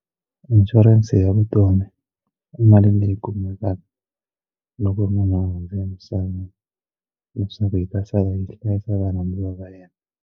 Inshurense ya vutomi ku mali leyi kumekaka loko munhu a hundze emisaveni leswaku hi ta sala yi hlayisa varhandziwa va yena.